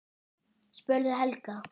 spurði Helga.